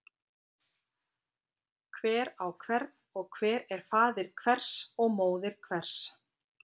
Hver á hvern og hver er faðir hvers og móðir hvers.